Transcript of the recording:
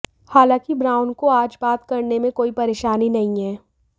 हालांकि ब्राउन को आज बात करने में कोई परेशानी नहीं है